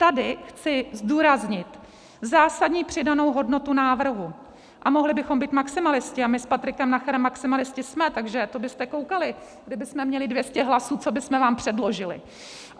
Tady chci zdůraznit zásadní přidanou hodnotu návrhu - a mohli bychom být maximalisté, a my s Patrikem Nacherem maximalisté jsme, takže to byste koukali, kdybychom měli 200 hlasů, co bychom vám předložili.